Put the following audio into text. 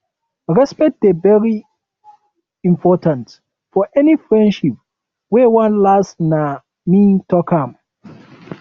respect dey very um important for any friendship wey wan last nah me talk am